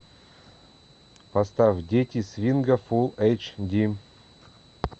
поставь дети свинга фулл эйч ди